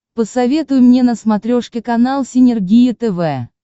посоветуй мне на смотрешке канал синергия тв